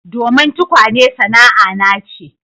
Domin tukwane sana'ana ce